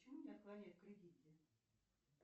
почему мне отклоняют в кредите